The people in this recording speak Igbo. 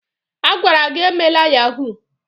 A gwara gi emela yahuu!